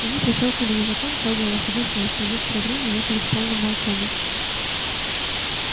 они прищёлкнули языком трогая лошадей с места и некоторое время ехали в полном молчании